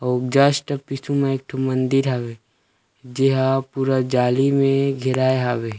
अउ जस्ट पीछू में एक ठो मंदिर हावे जेहा पूरा जाली में घेराय हावे।